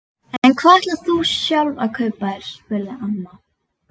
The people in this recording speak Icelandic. En hvað ætlar þú sjálf að kaupa þér? spurði amma.